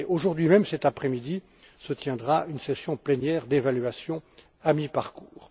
Aujourd'hui même, cet après midi se tiendra une session plénière d'évaluation à mi parcours.